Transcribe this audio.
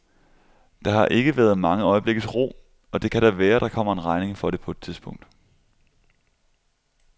Der har ikke været mange øjeblikkes ro, og det kan da være, der kommer en regning for det på et tidspunkt.